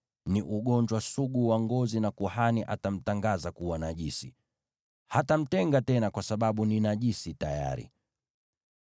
ni ugonjwa sugu wa ngozi, na kuhani atamtangaza kuwa najisi. Hatamtenga tena kwa sababu ni najisi tayari.